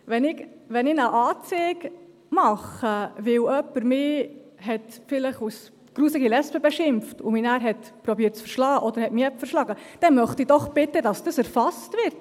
Wenn ich eine Anzeige mache, weil mich jemand vielleicht als widerliche Lesbe beschimpft hat und dann versucht hat, mich zusammenzuschlagen oder mich zusammengeschlagen hat, dann möchte ich doch bitte, dass das erfasst wird!